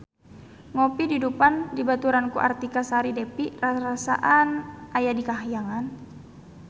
Ngopi di Dufan dibaturan ku Artika Sari Devi rarasaan aya di kahyangan